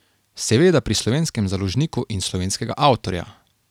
Seveda pri slovenskem založniku in slovenskega avtorja.